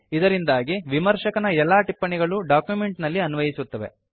ಇದರಿಂದಾಗಿ ವಿಮರ್ಶಕನ ಎಲ್ಲಾ ಟಿಪ್ಪಣಿಗಳು ಡಾಕ್ಯುಮೆಂಟ್ ನಲ್ಲಿ ಅನ್ವಯಿಸುತ್ತವೆ